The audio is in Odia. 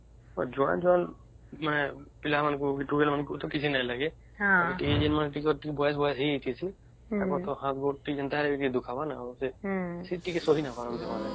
ପିଲା ମାନଙ୍କୁ ତ କିଛି ନାଇଁ ଲାଗେ ଏଇ ଯୋଉ ବୟସ ବୟସ ହେଇ ଯାଇଛେ ତାଙ୍କୁ ତ ହାତ ଗୋଡ଼ ତ ଟିକେ ନ ଦୁଖାବରା ସେ ଟିକେ ସହି ନ ପରିବାର ନ